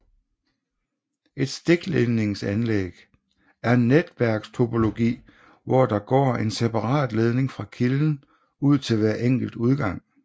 Et stikledningsanlæg er en netværkstopologi hvor der går en separat ledning fra kilden ud til hver enkelt udgang